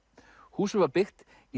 húsið var byggt í